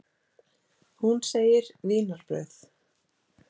Hún segir: Vínarbrauð.